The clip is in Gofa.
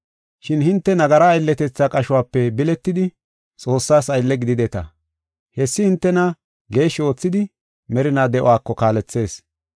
Shin hinte nagara aylletetha qashope biletidi, Xoossaas aylle gidideta. Hessi hintena geeshshi oothidi merinaa de7uwako kaalethees.